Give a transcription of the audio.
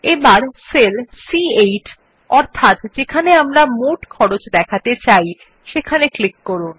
এবার সেল সি8 অর্থাৎ যেখানে আমরা মোট খরচ দেখাতে চাই সেখানে ক্লিক করুন